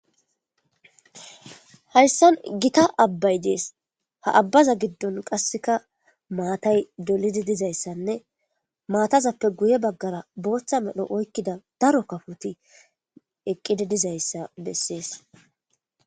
hayssan gita abbay dees ha abbaza giddon qasseka maatay dolidi dizayssanne maatazappe guye baggara booththa medho oykkida daro kafoti eqqidi dizayssa bessees